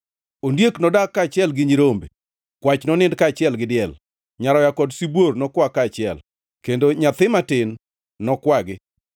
Ondiek nodag kaachiel gi nyirombe, kwach nonind kaachiel gi diel, nyaroya kod sibuor nokwa kaachiel, kendo nyathi matin nokwagi.